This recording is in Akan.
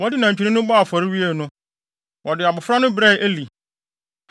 Wɔde nantwinini no bɔɔ afɔre wiee no, wɔde abofra no brɛɛ Eli.